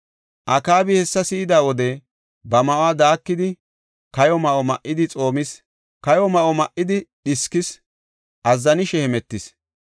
Akaabi hessa si7ida wode ba ma7uwa daakidi, kayo ma7o ma7idi xoomis. Kayo ma7o ma7idi dhiskees; azzanishe hemetees.